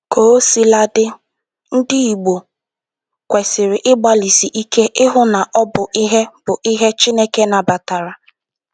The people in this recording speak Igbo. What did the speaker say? Kaosiladị, ndị Igbo kwesiri ịgbalịsị ike hụ na ọ bụ ihe bụ ihe Chineke nabatara